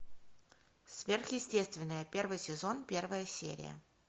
сверхъестественное первый сезон первая серия